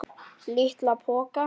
LITLA POKA!